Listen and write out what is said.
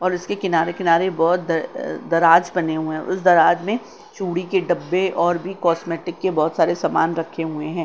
और उसके किनारे-किनारे बहुत दर अ दराज बने हुए हैं उस दराज में चूड़ी के डब्बे और भी कॉस्मेटिक के बहुत सारे समान रखे हुए हैं।